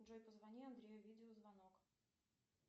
джой позвони андрею видеозвонок